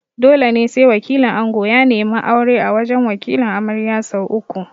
Dole ne sai wakilin ango ya neme aure a wajan Wakilin amarya sau uku